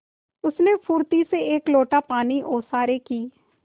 उसने फुर्ती से एक लोटा पानी ओसारे की